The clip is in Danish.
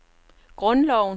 grundloven